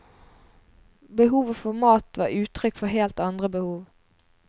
Behovet for mat var uttrykk for helt andre behov.